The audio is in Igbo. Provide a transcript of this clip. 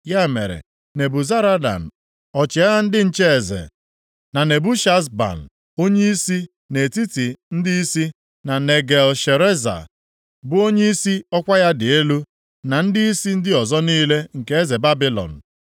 Ya mere, Nebuzaradan, ọchịagha ndị nche eze, na Nebushazban, onyeisi nʼetiti ndịisi, na Negal-Shareza, bụ onyeisi ọkwa ya dị elu, na ndịisi ndị ọzọ niile nke eze Babilọn,